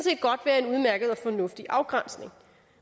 fornuftig afgrænsning